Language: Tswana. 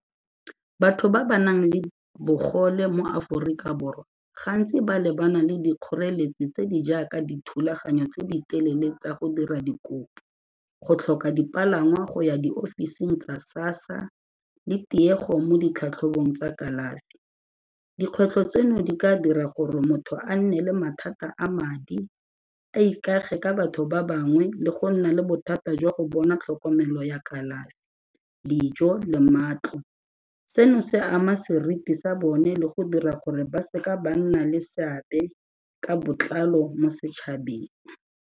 Batho ba ba nang le bogole mo Aforika Borwa gantsi ba lebana le dikgoreletsi tse di jaaka dithulaganyo tse di telele tsa go dira dikopo, go tlhoka dipalangwa go ya di-office-ing tsa SASSA le tiego mo ditlhatlhobong tsa kalafi. Dikgwetlho tseno di ka dira gore motho a nne le mathata a madi, a ikage ka batho ba bangwe le go nna le bothata jwa go bona tlhokomelo ya kalafi, dijo le matlo, seno se ama seriti sa bone le go dira gore ba seka ba nna le seabe ka botlalo mo setšhabeng.